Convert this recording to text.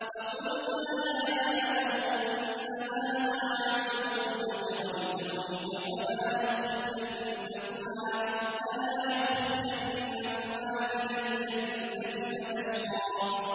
فَقُلْنَا يَا آدَمُ إِنَّ هَٰذَا عَدُوٌّ لَّكَ وَلِزَوْجِكَ فَلَا يُخْرِجَنَّكُمَا مِنَ الْجَنَّةِ فَتَشْقَىٰ